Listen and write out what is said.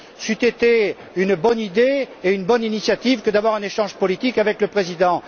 C'eût été une bonne idée et une bonne initiative que d'avoir un échange politique avec le président.